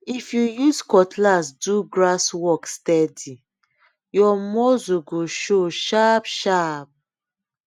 if you use cutlass do grass work steady your muscle go show sharpsharp